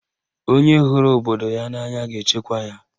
Onye hụrụ obodo ya n'anya ga-echekwa ya.